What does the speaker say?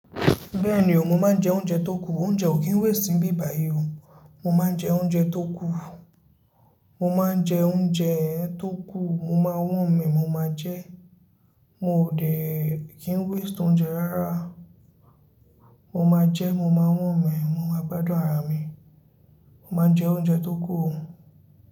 Bẹ́ẹ̀ni o, mo máa ń jẹ oúnjẹ tó kù, oúnjẹ ò kí n waste nibíbàyí o. Mo máa ń jẹ oúnjẹ tó kù, mo máa ń jẹ oúnjẹ tó kù, mo máa worm ẹ, mo máa jẹ, mo ò dé kí n waste oúnjẹ rárá. Mo máa jẹ, mo máa wón mẹ, mo máa gbádùn ara mi. Mo máa ń jẹ oúnjẹ tó kù.